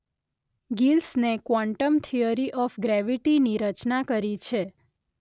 ગિલ્સને quantum theory of gravity ની રચના કરી છે